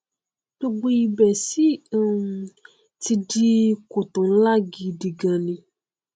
gbogbo ibẹ sì um ti di kòtò nlá gidi gaan ni